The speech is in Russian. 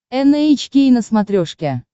эн эйч кей на смотрешке